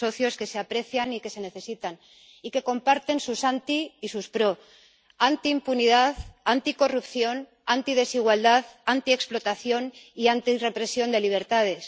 dos socios que se aprecian y que se necesitan y que comparten sus anti y sus pro antiimpunidad, anticorrupción, antidesigualdad, antiexplotación y antirrepresión de libertades